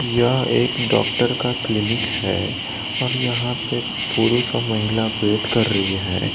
यह एक डॉक्टर का क्लीनिक है और यहां पे पुरुष महिला वेट कर रही है।